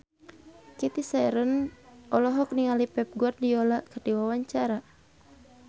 Cathy Sharon olohok ningali Pep Guardiola keur diwawancara